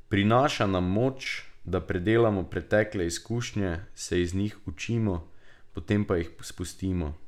Prinaša nam moč, da predelamo pretekle izkušnje, se iz njih učimo, potem pa jih spustimo.